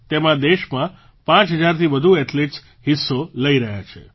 તેમાં દેશમાં પાંચ હજારથી વધુ એથ્લેટ્સ હિસ્સો લઈ રહ્યા છે